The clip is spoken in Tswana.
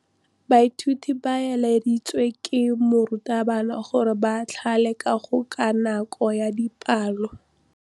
Baithuti ba laeditswe ke morutabana gore ba thale kagô ka nako ya dipalô.